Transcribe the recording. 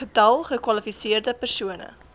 getal gekwalifiseerde persone